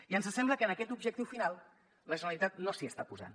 i ens sembla que en aquest objectiu final la generalitat no s’hi està posant